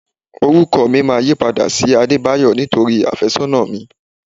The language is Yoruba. Orúkọ mi máa yípadà sí Adebayo nítorí afésónà mi.